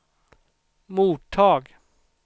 mottag